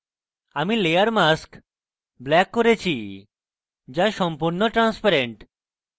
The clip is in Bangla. আমি layer mask black করেছি যা সম্পূর্ণ transparency